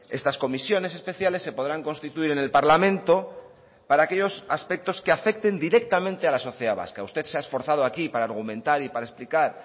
estas comisiones especiales se podrán constituir en el parlamento para aquellos aspectos que afecten directamente a la sociedad vasca usted se ha esforzado aquí para argumentar y para explicar